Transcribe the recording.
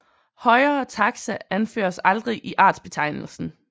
Højere taxa anføres aldrig i artsbetegnelsen